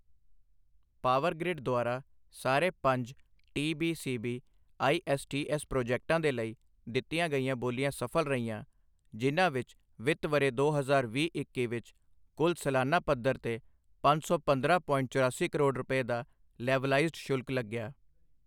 Power Grid ਦੁਆਰਾ ਸਾਰੇ ਪੰਜ ਟੀਬੀਸੀਬੀ ਆਈਐੱਸਟੀਐੱਸ ਪ੍ਰੋਜੈਕਟਾਂ ਦੇ ਲਈ ਦਿੱਤੀਆਂ ਗਈਆਂ ਬੋਲੀਆਂ ਸਫ਼ਲ ਰਹੀਆਂ, ਜਿਨ੍ਹਾਂ ਵਿੱਚ ਵਿੱਤ ਵਰ੍ਹੇ ਦੋ ਹਜ਼ਾਰ ਵੀਹ ਇੱਕੀ ਵਿੱਚ ਕੁੱਲ ਸਲਾਨਾ ਪੱਧਰ ਤੇ ਪੰਜ ਸੌ ਪੰਦਰਾਂ ਪੋਇੰਟ ਚੁਰਾਸੀ ਕਰੋੜ ਰੁਪਏ ਦਾ ਲੇਵਲਾਈਜਡ ਸ਼ੁਲਕ ਲੱਗਿਆ।